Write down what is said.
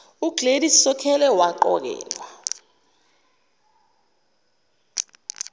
ugladys sokhela waqokelwa